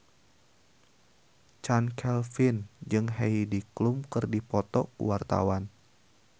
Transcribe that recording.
Chand Kelvin jeung Heidi Klum keur dipoto ku wartawan